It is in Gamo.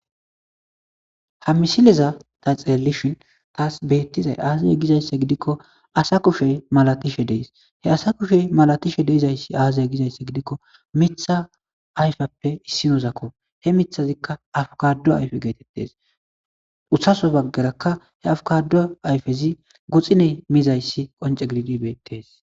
Ha misileza ta xeelishin taas beettizay aazaya gizaysse gidikko asa kushey malatishe deys he asa kushe malatishe deyzayssi aazaya gizaysse gidikko mitha ayfappe issinozakko he mithazikka afukadu ayfe geetettes utsaso baggeraka he afukado ayfezi guxiney miizayssi qonce gididi beettes .